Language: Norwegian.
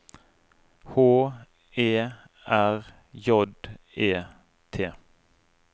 H E R J E T